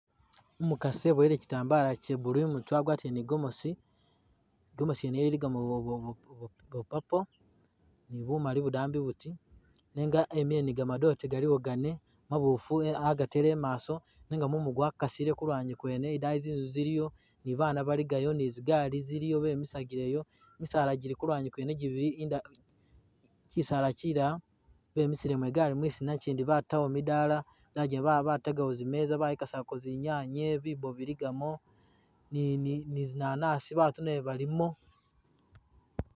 Umukasi ibowele kyitambala Kya blue imutwe agwatile ni igomesi ,igomesi nyene iligagamo bwa purple ni bumali budambi buti nenga emile ni gamadote galiwo gane mabufu agatele imaso nenga mumu gwakasile kulwanyi kwene nenga idayi zinzu ziliyo nibabana baligayo ni zigari ziliyo bemisagileyo mosala jili kulwanyi kwene jibili, kyisala kyilala bemisilemo igali mwisina kyindi batawo midala ,batagawo zimeza bayikasako zinyanye ,bibo biligamo ni zinanasi batu nabo balimo